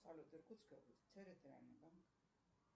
салют иркутская область территориальный банк